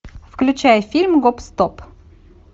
включай фильм гоп стоп